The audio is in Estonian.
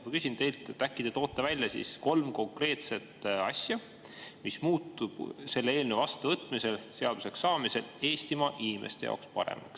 Ma küsin teilt, äkki te toote välja kolm konkreetset asja, mis muutub selle eelnõu vastuvõtmisel ja seaduseks saamisel Eestimaa inimeste jaoks paremaks.